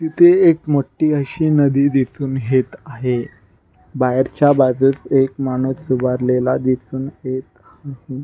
इथे एक मोठी अशी नदी दिसून हेत आहे बाहेरच्या बाजूस एक माणूस उभारलेला दिसून येत हाये.